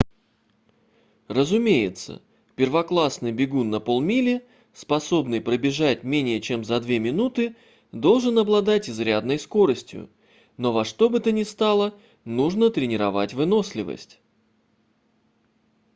разумеется первоклассный бегун на полмили способный пробежать менее чем за две минуты должен обладать изрядной скоростью но во что бы то ни стало нужно тренировать выносливость